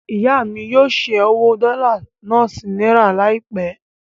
Ìyá mí yóò ṣẹ́ owó dọ́là náà sí náírà láìpẹ́.